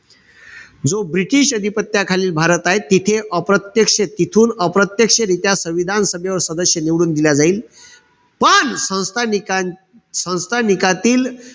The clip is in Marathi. जो british अधिपत्याखालील भारताये तिथे अप्रत्यक्ष तिथून अप्रत्यक्षरीत्या संविधान सभेवर सदस्य निवडून दिला जाईल. पण संस्थानिकां संस्थानिकातील,